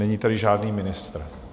Není tady žádný ministr.